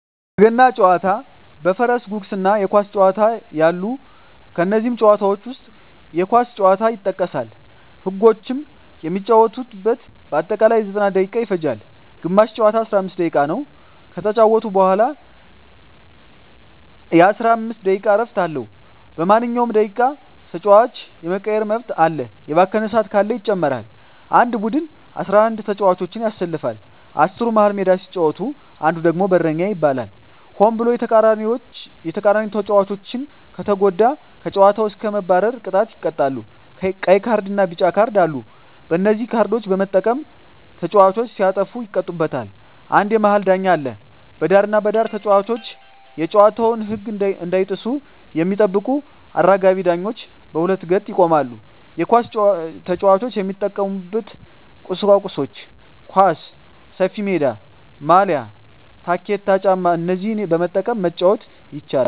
በገና ጨዋታ በፈረስ ጉግስ እና የኳስ ጨዋታ አሉ ከነዚህም ጨዋታዎች ዉስጥ የኳስ ጨዋታ ይጠቀሳል ህጎችም የሚጫወቱበት በአጠቃላይ 90ደቂቃ ይፈጃል ግማሽ ጨዋታ 45 ደቂቃ ነዉ ከተጫወቱ በኋላ የ15 ደቂቃ እረፍት አለዉ በማንኛዉም ደቂቃ ተጫዋች የመቀየር መብት አለ የባከነ ሰአት ካለ ይጨመራል አንድ ቡድን 11ተጫዋቾችን ያሰልፋል አስሩ መሀል ሜዳ ሲጫወት አንዱ ደግሞ በረኛ ይባላል ሆን ብሎ የተቃራኒተጫዋቾችን ከተጎዳ ከጨዋታዉ እስከ መባረር ቅጣት ይቀጣሉ ቀይ ካርድና ቢጫ ካርድ አሉ በነዚህ ካርዶች በመጠቀም ተጫዋቾች ሲያጠፉ ይቀጡበታል አንድ የመሀል ዳኛ አለ በዳርና በዳር ተጫዋቾች የጨዋታዉን ህግ እንዳይጥሱ የሚጠብቁ አራጋቢ ዳኞች በሁለት ገጥ ይቆማሉ የኳስ ጫዋች የሚጠቀሙበት ቁሳቁሶች ኳስ፣ ሰፊሜዳ፣ ማልያ፣ ታኬታ ጫማ እነዚህን በመጠቀም መጫወት ይቻላል